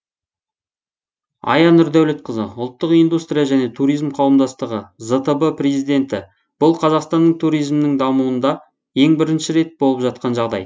ая нұрдәулетқызы ұлттық индустрия және туризм қауымдастығы зтб президенті бұл қазақстанның туризмінің дамуында ең бірінші рет болып жатқан жағдай